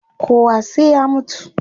Kowa sai ya mutu